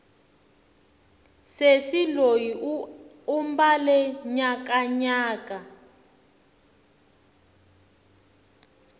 sesi loyi u mbale nyakanyaka